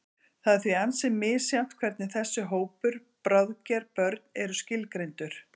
Það er því ansi misjafnt hvernig þessi hópur, bráðger börn, er skilgreindur.